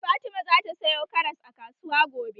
Fatima zata sayo karas a kasuwa gobe.